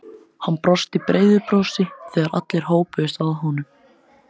Hann brosti breiðu brosi þegar allir hópuðust að honum.